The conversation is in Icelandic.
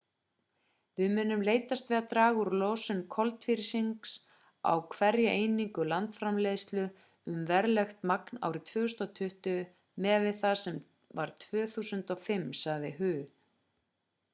við munum leitast við að draga úr losun koltvísýrings á hverja einingu landsframleiðslu um verulegt magn árið 2020 miðað við það sem var 2005 sagði hu